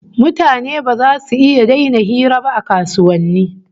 Mutane ba zasu iya daina hira ba a kasuwanni